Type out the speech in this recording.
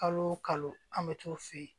Kalo o kalo an bɛ t'o f'i ye